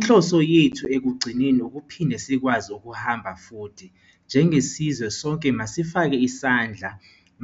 Inhloso yethu ekugcineni ukuphinde sikwazi ukuhamba futhi. Njengesizwe, sonke masifakeni isandla.